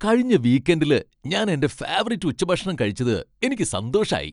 കഴിഞ്ഞ വീക്കെന്ഡിൽ ഞാൻ എന്റെ ഫേവറിറ്റ് ഉച്ചഭക്ഷണം കഴിച്ചത് എനിക്ക് സന്തോഷായി.